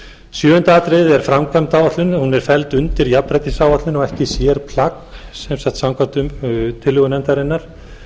sjöunda atriðið er framkvæmdaáætlun hún er felld undir jafnréttisáætlun og ekki sérplagg sem sagt samkvæmt tillögum nefndarinnar